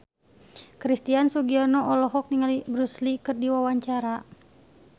Christian Sugiono olohok ningali Bruce Lee keur diwawancara